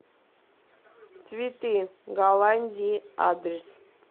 цветы голландии адрес